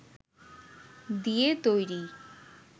দিয়ে তৈরি